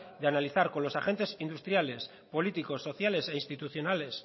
de analizar con los agente industriales políticos sociales e institucionales